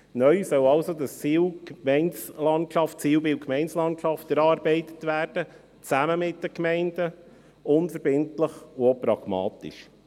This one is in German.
Neu soll also das Zielbild Gemeindelandschaft erarbeitet werden: zusammen mit den Gemeinden, unverbindlich und auch pragmatisch.